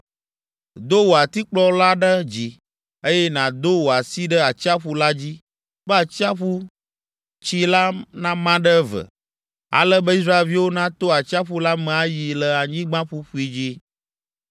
Do wò atikplɔ la ɖe dzi, eye nàdo wò asi ɖe atsiaƒu la dzi be atsiaƒutsi la nama ɖe eve, ale be Israelviwo nato atsiaƒu la me ayi le anyigba ƒuƒui dzi.